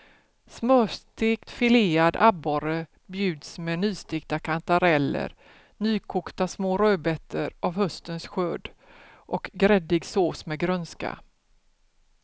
Smörstekt filead abborre bjuds med nystekta kantareller, nykokta små rödbetor av höstens skörd och gräddig sås med grönska.